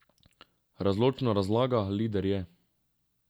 Razločno razlaga, lider je.